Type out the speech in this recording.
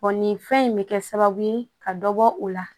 nin fɛn in bɛ kɛ sababu ye ka dɔ bɔ o la